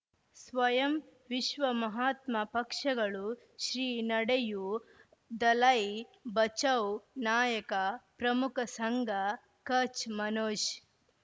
ಸ್ವಯಂ ವಿಶ್ವ ಮಹಾತ್ಮ ಪಕ್ಷಗಳು ಶ್ರೀ ನಡೆಯೂ ದಲೈ ಬಚೌ ನಾಯಕ ಪ್ರಮುಖ ಸಂಘ ಕಚ್ ಮನೋಜ್